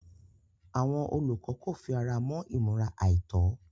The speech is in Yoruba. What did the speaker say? Àwọn olùkọ́ kò fi ara mọ́ ìmúra àìtọ́.